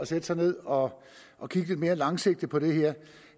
sætte sig ned og og kigge lidt mere langsigtet på det her